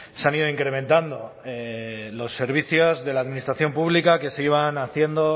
se han ido incrementando los servicios de la administración pública que se iban haciendo o